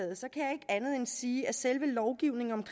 sige at selve lovgivningen